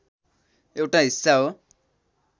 एउटा हिस्सा हो।